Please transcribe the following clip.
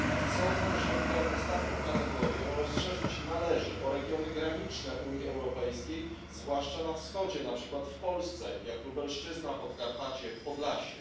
Sądzę, że tę ostatnią kategorię należy rozszerzyć o regiony graniczne Unii Europejskiej, zwłaszcza na wschodzie, na przykład w Polsce, jak Lubelszczyzna, Podkarpacie, Podlasie.